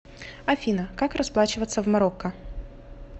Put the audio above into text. афина как расплачиваться в марокко